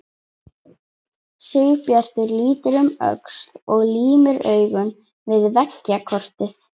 Sigurbjartur lítur um öxl og límir augun við veggjakrotið.